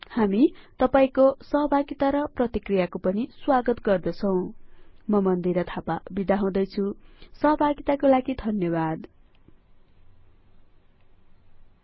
हामी तपाइको सहभागिता र प्रतिक्रियाको पनि स्वागत गर्दछौं म मन्दिरा थापा बिदा हुदैछुं जोडिनु भएकोमा धन्यवाद नमस्कार